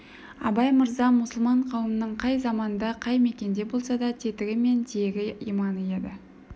абай мырза мұсылман қауымының қай заманда қай мекенде болса да тетігі мен тиегі иманы еді